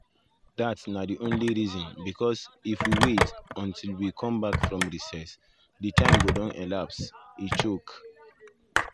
dat na di only reason bicos if we wait (until we um come bak from recess) di time go don lapse" e tok.